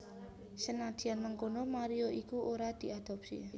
Senadyan mengkono Mario iku ora diadopsi